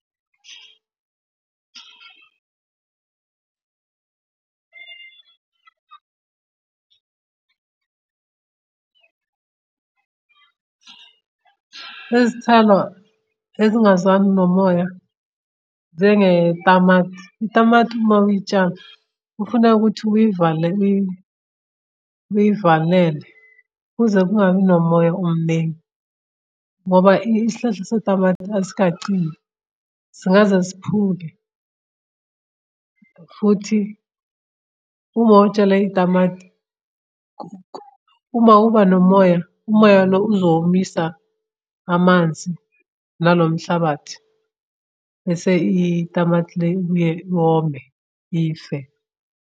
Izithelo ezingazwani nomoya njengetamati. Itamati mawuyitshala kufuneka ukuthi uyivale uyivalele kuze kungabi nomoya omningi. Ngoba isihlahla setamati esikacini. Singaze siphuke. Futhi uma utshale itamati, uma uba nomoya umoya lo uzomisa amanzi nalo mhlabathi. Bese itamati le ibuye yome ife.